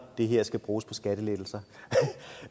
det her skal bruges på skattelettelser